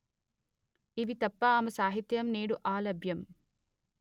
ఇవి తప్ప ఆమె సాహిత్యం నేడు అలభ్యం